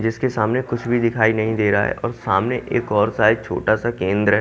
जिसके सामने कुछ भी दिखाई नहीं दे रहा है और सामने एक और शायद छोटा सा केंद्र--